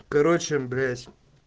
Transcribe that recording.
короче блять